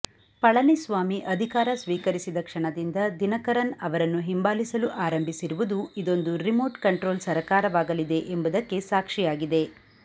ಪಳನಿಸ್ವಾಮಿ ಅಧಿಕಾರ ಸ್ವೀಕರಿಸಿದ ಕ್ಷಣದಿಂದ ದಿನಕರನ್ ಅವರನ್ನು ಹಿಂಬಾಲಿಸಲು ಆರಂಭಿಸಿರುವುದು ಇದೊಂದು ರಿಮೋಟ್ ಕಂಟ್ರೋಲ್ ಸರಕಾರವಾಗಲಿದೆ ಎಂಬುದಕ್ಕೆ ಸಾಕ್ಷಿಯಾಗಿದೆ